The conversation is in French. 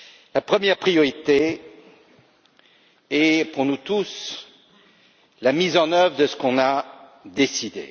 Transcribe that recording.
La première priorité est pour nous tous la mise en œuvre de ce que nous avons décidé.